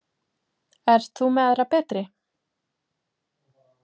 Ert þú með aðra betri?